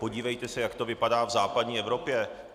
Podívejte se, jak to vypadá v západní Evropě.